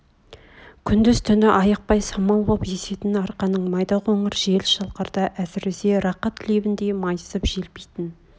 күндіз-түні айықпай самал боп есетін арқаның майда қоңыр жел шалқарда әсіресе рақат лебіндей майысып желпитін